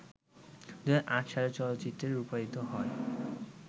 ২০০৮ সালে চলচ্চিত্রে রূপায়িত হয়